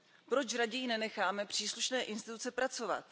Proč raději nenecháme příslušné instituce pracovat?